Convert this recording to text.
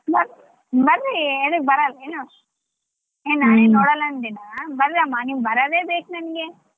ಬ~ ಬರ್ರಿ ಎಂತಕ್ಕ್ ಬರಲ್ ಏನು? ಏ ನಾನೇನ್ ಬರ್ರಮ್ಮ ನೀವ್ ಬರದೇ ಬೇಕ್ ನನ್ಗೆ.